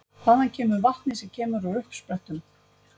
Hvaðan kemur vatnið sem kemur úr uppsprettum?